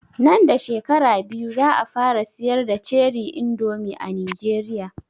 Nan da shekara biyu za a fara siyar da ( ceri indomi) a Nijeriya